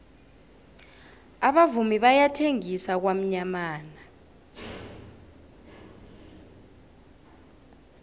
abavumi bayathengisa kwamyamana